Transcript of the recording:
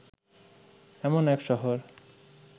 এমন এক শহর